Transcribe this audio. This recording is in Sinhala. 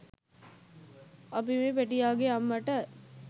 අපි මේ පැටියාගේ අම්මට